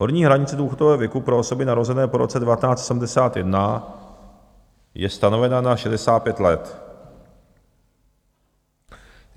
Horní hranice důchodového věku pro osoby narozené po roce 1971 je stanovena na 65 let.